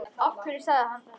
Af hverju sagði hann þetta?